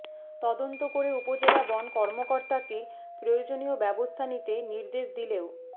তদন্ত করে উপজেলা বন কর্মকর্তাকে প্রয়োজনীয় ব্যবস্থা নিতে নির্দেশ দিলেও